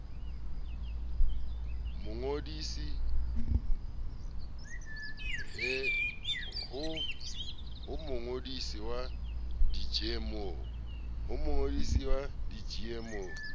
ho mongodisi wa di gmo